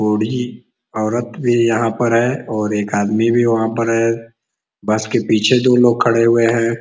बुड़ी औरत भी यहाँ पर है और एक आदमी भी वहाँ पर है। बस के पीछे दो लोग खड़े हुए हैं।